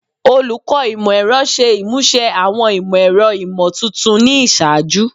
Olukọ Imọ-ẹrọ ṣe imuse awọn imọ-ẹrọ imotuntun ni iṣaaju